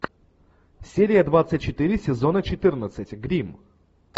серия двадцать четыре сезона четырнадцать гримм